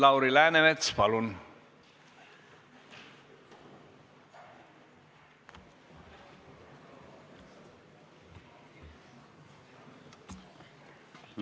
Lauri Läänemets, palun!